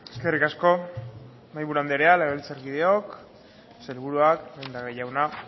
eskerrik asko mahaiburu anderea legebiltzarkideok sailburuak lehendakari jauna